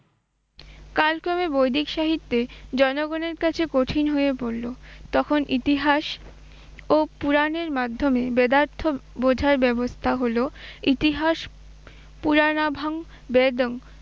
কারণ কবি বৈদ্যিক সাহিত্যে জনগণের কাছে কঠিন হয়ে পড়লো, তখন ইতিহাস ও পুরাণের মাধ্যমে বেদার্থ বোঝার ব্যবস্থা হল ইতিহাস পুরাণাভাং বেদম